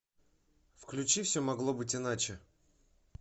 включи все могло быть иначе